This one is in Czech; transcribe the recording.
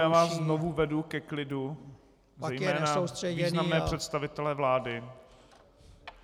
Já vás znovu vedu ke klidu, zejména významné představitele vlády.